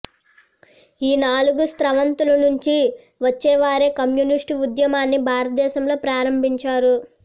ఈ నాలుగు స్రవంతుల నుండి వచ్చినవారే కమ్యూనిస్టు ఉద్యమాన్ని భారతదేశంలో ప్రారంభించారు